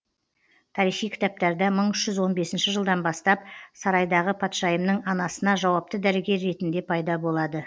тарихи кітаптарда мың үш жүз он бесінші жылдан бастап сарайдағы патшайымның анасына жауапты дәрігер ретінде пайда болады